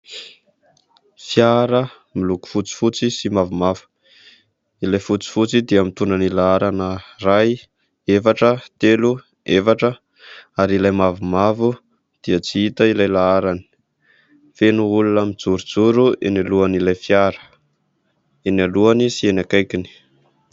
Fiara miloko fotsy fotsy sy mavomavo ilay fotsy fotsy dia mitondra ny laharana iray, efatra, telo, efatra ary ilay mavomavo dia tsy hita ilay laharany. Feno olona mijorojoro eny alohan'ilay fiara, eny alohany sy eny ankaikiny.